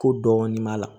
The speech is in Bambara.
Ko dɔɔnin b'a la